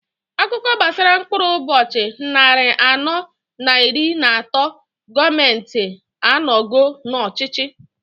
Akụkọa gbasara mkpụrụ ụbọchị nnarị anọọ n'iri n'atọọ gọọmenti a nogolu n'ọchịchị.